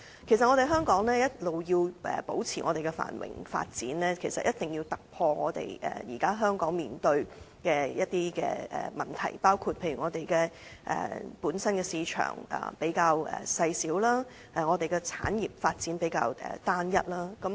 其實，香港要維持繁榮及發展，便一定要解決現時香港面對的一些問題，包括我們本身的市場細小，產業發展亦比較單一。